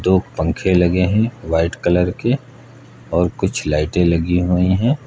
दो पंखे लगे है व्हाइट कलर के और कुछ लाइटे लगी हुई है।